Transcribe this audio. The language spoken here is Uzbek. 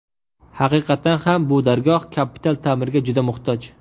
Haqiqatan ham bu dargoh kapital ta’mirga juda muhtoj.